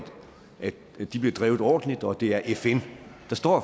de bliver drevet ordentligt og at det er fn der står